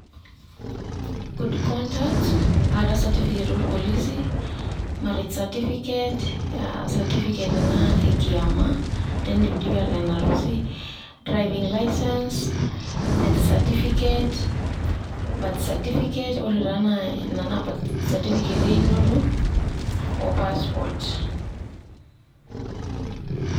Good conduct atah satifiket orpolisi, marriage certificate satifiket ina ekiama teneidipidipi ateen arusi, driving licence, death certificate, birth certificate Ore taa ina naa satifiket einoto o passport.